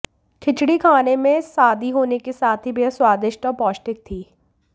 खिचड़ी खाने में सादी होने के साथ ही बेहद स्वादिष्ट और पौष्टिक थी